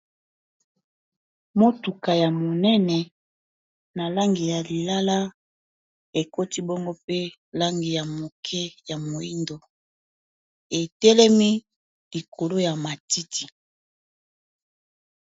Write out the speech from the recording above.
Motuka ya monene na langi ya lilala ekoti bongo pe langi ya moke ya moyindo etelemi likolo ya matiti.